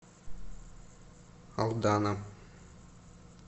алдана